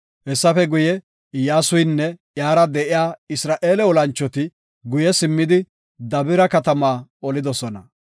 Hessafe guye, Iyyasuynne iyara de7iya Isra7eele olanchoti guye simmidi Dabira katamaa olidosona.